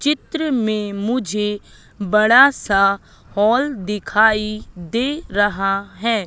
चित्र में मुझे बड़ा सा हॉल दिखाई दे रहा है।